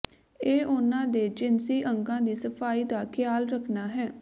ਇਹ ਉਨ੍ਹਾਂ ਦੇ ਜਿਨਸੀ ਅੰਗਾਂ ਦੀ ਸਫਾਈ ਦਾ ਖਿਆਲ ਰੱਖਣਾ ਹੈ